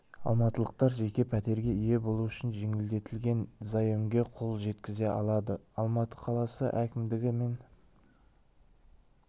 алматылықтар жеке пәтерге ие болу үшін жеңілдетілген заемге қол жеткізе алады алматы қаласы әкімдігі мен